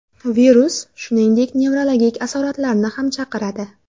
Virus, shuningdek, nevrologik asoratlarni ham chaqiradi.